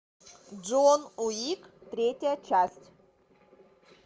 джон уик третья часть